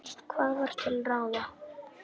Og hvað var til ráða?